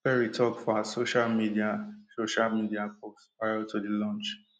perry tok for her social media social media post prior to di launch